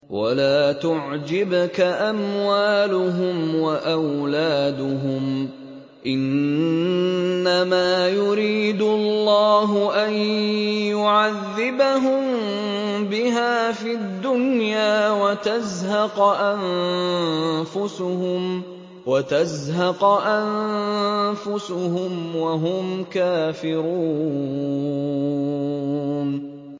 وَلَا تُعْجِبْكَ أَمْوَالُهُمْ وَأَوْلَادُهُمْ ۚ إِنَّمَا يُرِيدُ اللَّهُ أَن يُعَذِّبَهُم بِهَا فِي الدُّنْيَا وَتَزْهَقَ أَنفُسُهُمْ وَهُمْ كَافِرُونَ